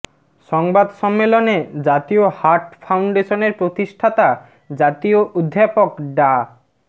সংবাদ সম্মেলনে জাতীয় হার্ট ফাউন্ডেশনের প্রতিষ্ঠাতা জাতীয় অধ্যাপক ডা